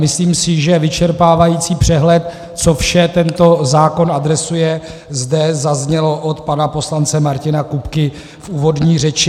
Myslím si, že vyčerpávající přehled, co vše tento zákon adresuje, zde zazněl od pana poslance Martina Kupky v úvodní řeči.